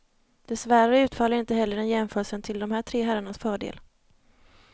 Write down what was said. Dessvärre utfaller inte heller den jämförelsen till de här tre herrarnas fördel.